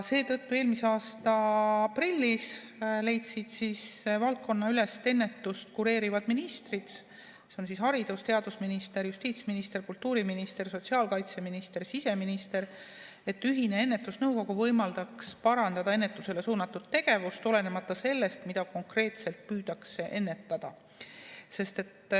Seetõttu eelmise aasta aprillis leidsid valdkonnaülest ennetust kureerivad ministrid – haridus‑ ja teadusminister, justiitsminister, kultuuriminister, sotsiaalkaitseminister ja siseminister –, et ühine ennetusnõukogu võimaldaks parandada ennetusele suunatud tegevust, olenemata sellest, mida konkreetselt püütakse ennetada.